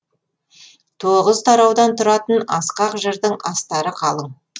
тоғыз тараудан тұратын асқақ жырдың астары қалың